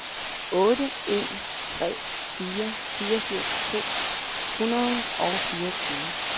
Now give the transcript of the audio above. otte en tre fire fireogfirs to hundrede og fireogtyve